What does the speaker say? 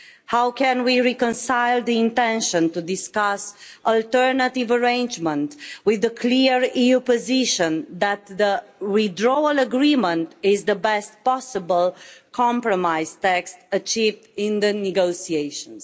How can we reconcile the intention to discuss alternative arrangements with the clear EU position that the withdrawal agreement is the best possible compromise text achieved in the negotiations?